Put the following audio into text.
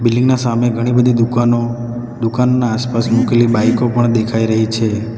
Building ના સામે ઘણી બધી દુકાનો દુકાનના આસપાસ મુકેલી બાઇકો પણ દેખાય રહી છે.